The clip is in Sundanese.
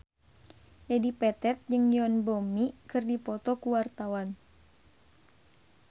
Dedi Petet jeung Yoon Bomi keur dipoto ku wartawan